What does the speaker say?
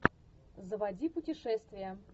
заводи путешествия